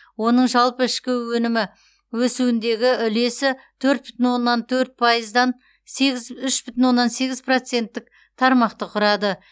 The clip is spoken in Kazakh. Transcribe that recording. оның жалпы ішкі өнімі өсуіндегі үлесі төрт бүтін оннан төрт пайыздан сегіз үш бүтін оннан сегіз проценттік тармақты құрады